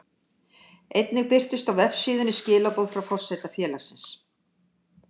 Einnig birtust á vefsíðunni skilaboð frá forseta félagsins.